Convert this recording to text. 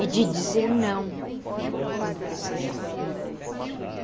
E de dizer não quando precisar.